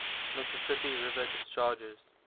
mississippi river discharges